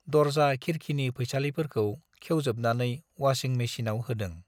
दर्जा खिरखिनि फैसालिफोरखौ खेवजोबनानै वासिं मेचिनआव होदों ।